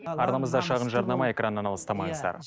арнамызда шағын жарнама экраннан алыстамаңыздар